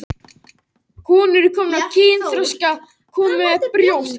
Ekki er fyllilega ljóst hver stofnstærð hans er um þessar mundir.